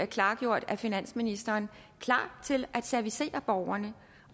klargjort af finansministeren klar til at servicere borgerne